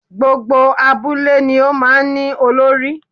Gbogbo abúlé ni ó máa ní Olórí